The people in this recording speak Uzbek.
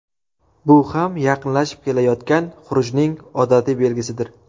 Bu ham yaqinlashib kelayotgan xurujning odatiy belgisidir.